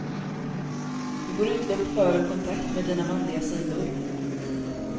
Du får utlopp för och kontakt med dina manliga sidor.